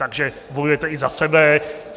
Takže bojujete i za sebe.